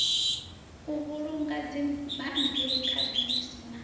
u vhulunga dzibammbiri khadzimiso na